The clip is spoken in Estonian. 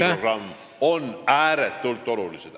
... või Kagu-Eesti programm, ääretult olulised.